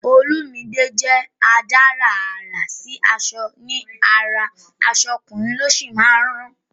Olumide jẹ́ adárà àrà sí aṣọ ní ara, aṣọ ọkùnrin ló sì máa ń rán